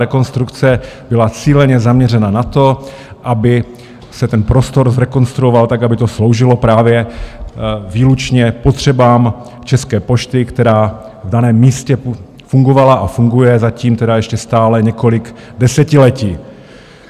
Rekonstrukce byla cíleně zaměřena na to, aby se ten prostor zrekonstruoval tak, aby to sloužilo právě výlučně potřebám České pošty, která v daném místě fungovala a funguje, zatím tedy ještě stále, několik desetiletí.